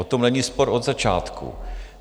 O tom není spor od začátku.